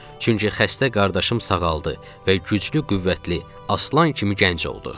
Çünki xəstə qardaşım sağaldı və güclü, qüvvətli, aslan kimi gənc oldu.